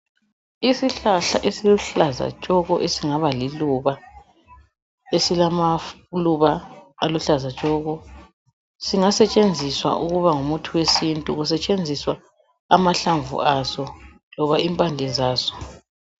Isihlahla esiluhlaza tshoko esingaba liluba esilamaluba aluhlaza tshoko singasetshenziswa ukuba ngumuthi wesintu kusetshenziswa amahlamvu aso loba impande zaso